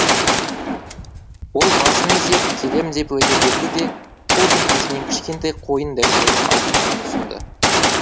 ол басын изеп келемін деп уәде берді де қол сөмкесінен кішкентай қойын дәптерін алып маған ұсынды